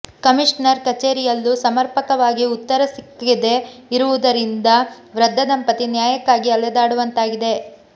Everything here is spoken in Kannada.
ಕಮಿಷನರ್ ಕಚೇರಿಯಲ್ಲೂ ಸಮರ್ಪಕವಾಗಿ ಉತ್ತರ ಸಿಕ್ಕಿದೇ ಇರುವುದರಿಂದ ವೃದ್ಧ ದಂಪತಿ ನ್ಯಾಯಕ್ಕಾಗಿ ಅಲೆದಾಡುವಂತಾಗಿದೆ